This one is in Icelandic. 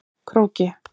Króki